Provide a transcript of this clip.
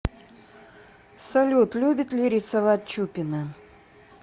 салют любит ли рисовать чупина